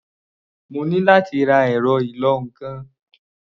Mo ní láti ra ẹ̀rọ ìlọ-nǹkan.